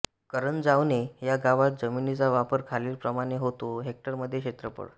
करंजावणे ह्या गावात जमिनीचा वापर खालीलप्रमाणे होतो हेक्टरमध्ये क्षेत्रफळ